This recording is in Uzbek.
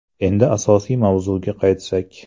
Endi asosiy mavzuga qaytsak.